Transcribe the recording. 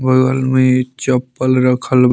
बगल में चप्पल रखल --